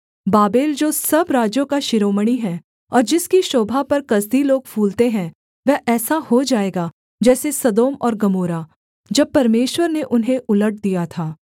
Babel जो सब राज्यों का शिरोमणि है और जिसकी शोभा पर कसदी लोग फूलते हैं वह ऐसा हो जाएगा जैसे सदोम और गमोरा जब परमेश्वर ने उन्हें उलट दिया था